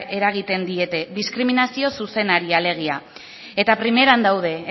eragiten diete diskriminazio zuzenari alegia eta primeran daude